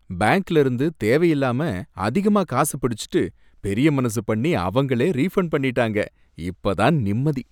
பேங்க்ல இருந்து தேவையில்லாம அதிகமா காசு பிடிச்சுட்டு பெரிய மனசு பண்ணி அவங்களே ரீஃபண்ட் பண்ணிட்டாங்க, இப்ப தான் நிம்மதி